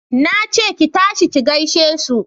Na ce ki tashi ki gaishe su!